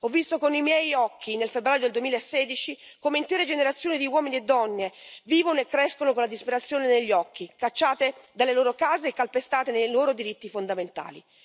Ho visto con i miei occhi, nel febbraio del 2016, come intere generazioni di uomini e donne vivono e crescono con la disperazione negli occhi, cacciate dalle loro case e calpestate nei loro diritti fondamentali.